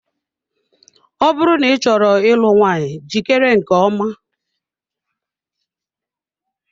Ọ bụrụ na ị chọrọ ịlụ nwunye jikere nke ọma.